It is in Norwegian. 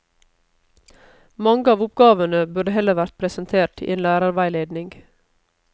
Mange av oppgavene burde heller vært presentert i en lærerveiledning.